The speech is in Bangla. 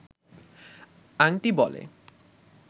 আংটি বলে